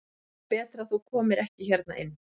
Það er betra að þú komir ekki hérna inn.